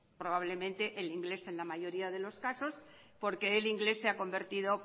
probablemente el inglés en la mayoría de los casos porque el inglés se ha convertido